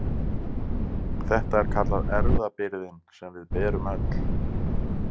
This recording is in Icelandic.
Þetta er kallað erfðabyrðin sem við berum öll.